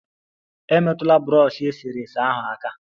Emetụla brọshi eserese ahụ aka!